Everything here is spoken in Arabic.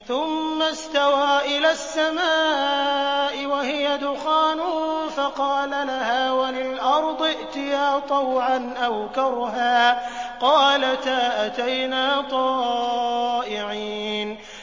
ثُمَّ اسْتَوَىٰ إِلَى السَّمَاءِ وَهِيَ دُخَانٌ فَقَالَ لَهَا وَلِلْأَرْضِ ائْتِيَا طَوْعًا أَوْ كَرْهًا قَالَتَا أَتَيْنَا طَائِعِينَ